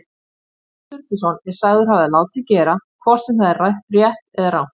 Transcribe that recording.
Snorri Sturluson er sagður hafa látið gera, hvort sem það er rétt eða rangt.